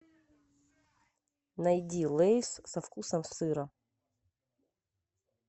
найди лейс со вкусом сыра